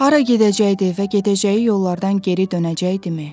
Hara gedəcəkdi və gedəcəyi yollardan geri dönəcəkdimi?